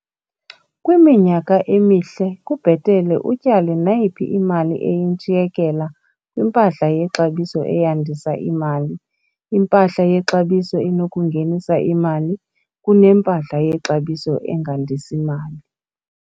Kwiminyaka emihle, kubhetele utyale nayiphi imali eyintshiyekela kwimpahla yexabiso eyandisa imali - impahla yexabiso enokungenisa imali - kunempahla yexabiso engandisi mali.